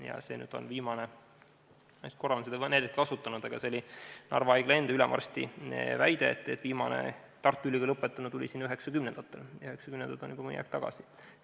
Ma olen vist korra seda näidet kasutanud, aga Narva haigla enda ülemarsti väide oli see, et viimane Tartu Ülikooli lõpetanu tuli sinna 1990-ndatel, seega juba mõni aeg tagasi.